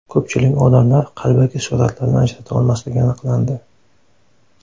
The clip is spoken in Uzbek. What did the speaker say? Ko‘pchilik odamlar qalbaki suratlarni ajrata olmasligi aniqlandi.